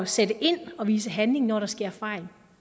sætte ind og vise handling når der sker fejl